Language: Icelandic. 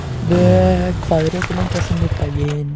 Vök, hvað er opið lengi á sunnudaginn?